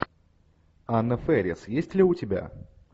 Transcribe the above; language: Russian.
анна фэрис есть ли у тебя